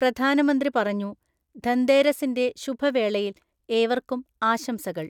പ്രധാനമന്ത്രി പറഞ്ഞു, ധന്തേരസിൻ്റെ ശുഭ വേളയിൽ ഏവർക്കും ആശംസകൾ.